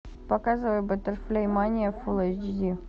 показывай батерфляй мания фул эйч ди